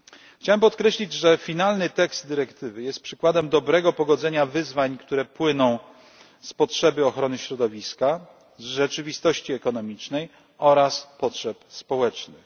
Chciałem podkreślić, że finalny tekst dyrektywy jest przykładem dobrego pogodzenia wyzwań, które płyną z potrzeby ochrony środowiska, rzeczywistości ekonomicznej oraz potrzeb społecznych.